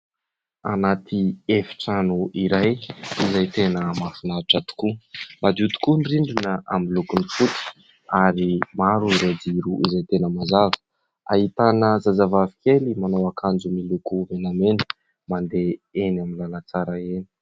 Anaty efitrano iray izay tena mahafinaritra tokoa. Madio tokoa ny rindrina amin'ny lokony fotsy ary maro ireo jiro izay tena mazava. Ahitana zazavavy kely manao akanjo miloko menamena mandeha eny amin'ny lalantsara eny.